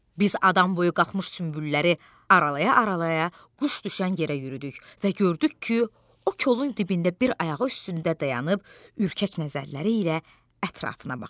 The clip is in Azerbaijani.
Biz adam boyu qalxmış sümbülləri aralaya-aralaya quş düşən yerə yürüdük və gördük ki, o kolun dibində bir ayağı üstündə dayanıb ürkək nəzərləri ilə ətrafına baxır.